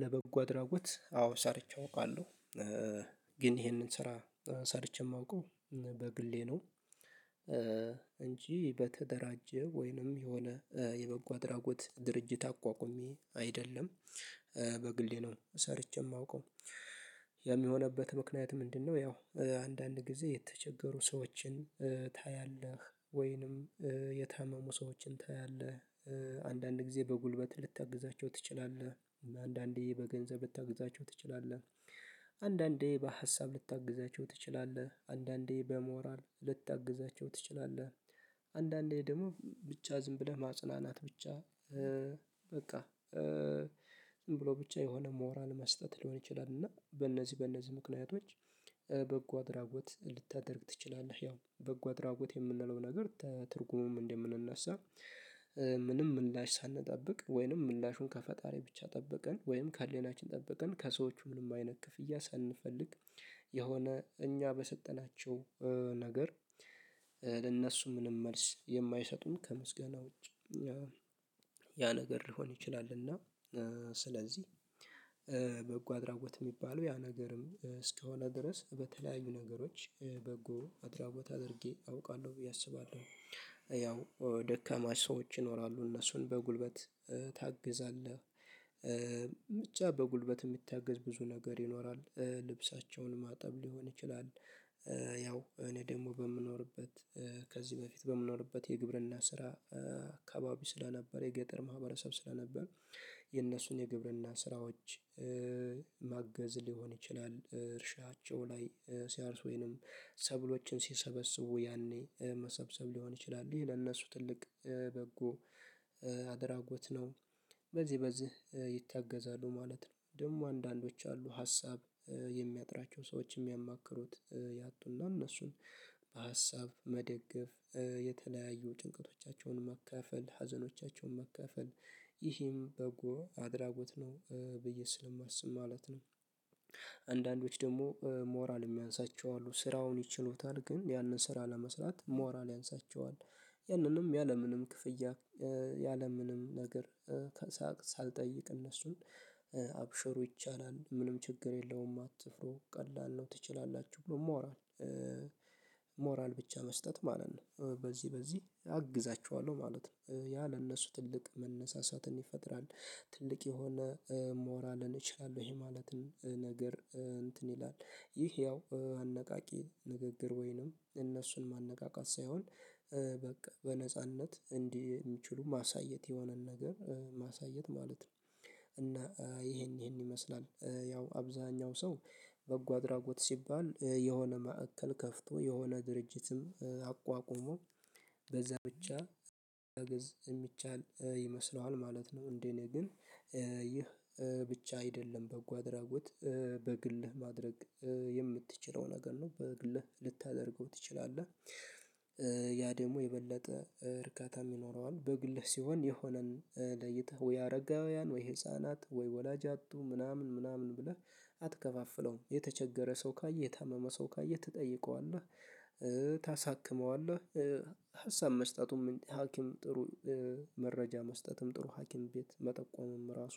ለበጎ አድራጎት አዎ ሰርቼ አውቃለሁ ግን ይሄንን ስራ ሰርቼ የማውቀው በግሌ ነው። እንጂ በተደራጀ ወይንም የሆነ የበጎ አድራጎት ድርጅት አቋቁሜ አይደለም። በግሌ ነው ሰርቼ የማውቀው የሚሆንበት ምክንያት ምንድነው? ያው አንዳንድ ጊዜ የተቸገሩ ሰዎችን ታያለህ ወይንም የታመሙ ሰዎችን ታያለህ። አንዳንድ ጊዜ በጉልበት ልታግዛቸው ትችላለህ አንዳንዴ በገንዘብ ልታግዛቸው ትችላለህ። አንዳንዴ በሀሳብ ልታግዛቸው ትችላለህ አንዳንዴ በሞራል ልታግዛቸው ትችላለህ። አንዳንዴ ደግሞ ብቻ ዝም ብለህ ማጽናናት ብቻ በቃ ዝም ብሎ ብቻ የሆነ ሞራል መስጠት ሊሆን ይችላል። እና በእነዚህ በእነዚህ ምክንያቶች በጎ አድራጎት ልታደርግ ትችላለህ። ያው በጎ አድራጎት የምንለው ነገር ከትርጉሙም እንደምንነሳ። ምንም ምላሽ ሳንጠብቅ ወይንም ምላሹን ከፈጣሪ ብቻ ጠብቀን ወይም ከሌላችን ጠበቀን ከሰዎቹ ምንም አይነት ክፍያ ሳንፈልግ የሆነ እኛ በሰጠናቸው ነገር ለእነሱ ምንም መልስ የማይሰጡን ከምስጋና ውጪ ያ ነገር ሊሆን ይችላል። እና ስለዚህ በጎ አድራጎት የሚባለው ያ ነገርም እስከሆነ ድረስ በተለያዩ ነገሮች በጎ አድራጎት አድርጌ አውቃለሁ ብዬ አስባለሁ። ያው ደከማ ሰዎች ይኖራሉ እነሱን በጉልበት ታግዛለህ ብቻ በጉልበት የሚታገዝ ብዙ ነገር ይኖራል ልብሳቸውን ማጠብ ሊሆን ይችላል። እኔ ደግሞ በምኖርበት ከዚህ በፊት በምኖርበት የግብርና ስራ አካባቢ ስለነበረ የገጠር ማህበረሰብ ስለነበር የነሱን የግብርና ስራዎች ማገዝ ሊሆን ይችላል። እርሻቸው ላይ ሲያርሱ ወይንም ሰብሎችን ሲሰበስቡ ያኔ መሰብሰብ ሊሆን ይችላል ይሄ ለእነሱ ትልቅ በጎ አድራጎት ነው። በዚህ በዚህ ማለት ነው ደግሞ አንዳንዶች አሉ ሀሳብ የሚያጥራቸው ሰዎች የሚያማክሩት ያጡና እነሱን በሀሳብ መደገፍ የተለያዩ ጭንቀቶቻቸውን መካፈል ሀዘኖቻቸውን መካፈል ይህም በጎ አድራጎት ነው ብዬ ስለማስብ ማለት ነው። ደግሞ ሞራል የሚያንሳቸው አሉ ስራውን ይችሉታል ግን ያንን ስራ ለመስራት ሞራል ያንሳቸዋል። ያንንም ያለምንም ክፍያ ያለምንም ነገር ሳልጠይቅ እነሱን አብሽሮ ይቻላል ምንም ችግር የለውም አትፍሩ ቀላል ነው ትችላላችሁ ብሎ ማውራት። ሞራል ብቻ መስጠት ማለት ነው በዚህ በዚህ አግዛችኋለሁ ማለት ነው ያ ለእነሱ ትልቅ መነሳሳትን ይፈጥራል። ትልቅ የሆነ ሞራልን እችላለሁ ይሄ ማለትን ነገር እንትን ይላል ይህ ያው አነቃቂ ንግግር ወይንም እነሱን ማነቃቃት ሳይሆን በቃ በነጻነት እንዲህ የሚችሉ ማሳየት የሆነን ነገር ማሳየት ማለት ነው። እና ይሄን ይሄን ይመስላል ያው አብዛኛው ሰው በጎ አድራጎት ሲባል የሆነ ማዕከል ከፍቶ የሆነ ድርጅትም አቋቁሞ በዛ ብቻ አገዝ የሚቻል ይመስለዋል ማለት ነው። እንዴ? እኔ ግን ይህ ብቻ አይደለም በጎ አድራጎት በግልህ ማድረግ የምትችለው ነገር ነው በግልህ ልታደርገው ትችላለህ። ያ ደግሞ የበለጠ እርካታ ይኖረዋል በግልህ ሲሆን የሆነን ለይተህ ወይ አረጋውያን ወይ ህፃናት ወይ ወላጅ ያጡ ምናምን ምናምን ብለህ አትከፋፍለውም የተቸገረ ሰው ካየህ የታመመ ሰው ካየህ ትጠይቀዋለህ። ታሳክመዋለህ ሀሳብ መስጠቱም ሀኪም ጥሩ መረጃ መስጠትም ጥሩ ሀኪም ቤት መጠቆምም ራሱ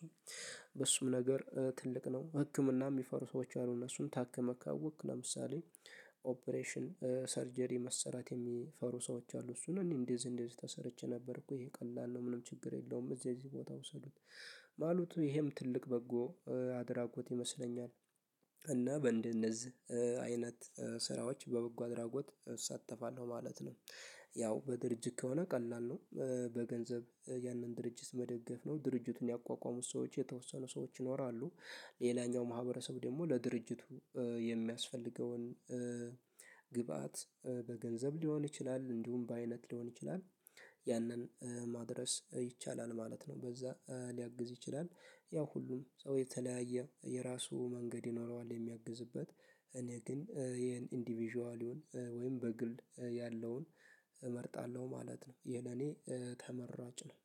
በሱም ነገር ትልቅ ነው። ህክምና የሚፈሩ ሰዎች አሉ እነሱን ታክመህ ካወቅክ ለምሳሌ ኦፕሬሽን ሰርጀሪ መሰራት የሚፈሩ ሰዎች አሉ እሱን እኔ እንደዚህ እንደዚህ ተሰርቼ ነበር እኮ ይሄ ቀላል ነው። ምንም ችግር የለውም እዚህ እዚህ ቦታ ውሰዱት። ማለቱ ይሄም ትልቅ በጎ አድራጎት ይመስለኛል። እና በእነዚህ አይነት ስራዎች በበጎ አድራጎት እሳተፋለሁ ማለት ነው። ያው በድርጅት ከሆነ ቀላል ነው በገንዘብ ያንን ድርጅት መደገፍ ነው ድርጅቱን ያቋቋሙት ሰዎች የተወሰኑ ሰዎች ይኖራሉ። ሌላኛው ማህበረሰብ ደግሞ ለድርጅቱ የሚያስፈልገውን ግብአት በገንዘብ ሊሆን ይችላል እንዲሁም በአይነት ሊሆን ይችላል። ያንን ማድረስ ይቻላል ማለት ነው በዛ ሊያግዝ ይችላል ያው ሁሉም ሰው የተለያየ የራሱ መንገድ ይኖረዋል የሚያግዝበት እኔ ግን ይሄን ኢንዲቪዥዋል ወይም በግል ያለውን እመርጣለሁ ማለት ነው። ይሄን እኔ ተመራጭ ነው።